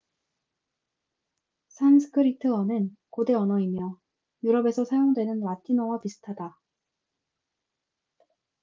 산스크리트어는 고대 언어이며 유럽에서 사용되는 라틴어와 비슷하다